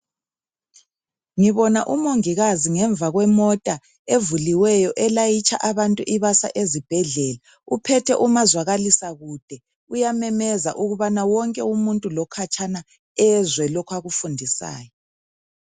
Ngibona umongikazi ngemva kwemota evuliweyo elayitsha abantu ibasa ezibhedlela uphethe umazwakalisakude uyamemeza ukubana wonke umuntu lokhatshana ezwe lokho akufundisayo.